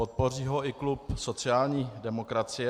Podpoří ho i klub sociální demokracie.